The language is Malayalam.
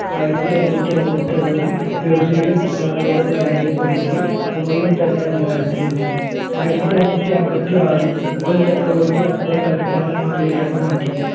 ആയിരത്തി അന്നൂറ്റി അമ്പത്തിഅഞ്ചു പേർഷ്യയുടെ പിൻഗാമികളെ പരാജയപ്പെടുത്തി ഉമയൂൺ തന്നെ അധികാരത്തിൽ എത്തി ആയിരത്തി അന്നൂറ്റി അമ്പത്തി ആറിൽ മുഗൾ ചക്രവർത്തി അക്ബർ തലസ്ഥാനം ആഗ്രയിലേക്ക് മാറ്റി